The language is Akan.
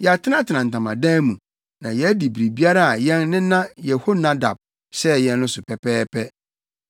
Yɛatenatena ntamadan mu, na yɛadi biribiara a yɛn nena Yehonadab hyɛɛ yɛn no so pɛpɛɛpɛ.